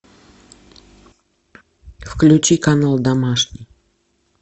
включи канал домашний